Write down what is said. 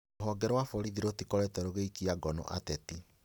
Rũhonge rwa borithi rũtikoretwo rũgĩikia ngono ateti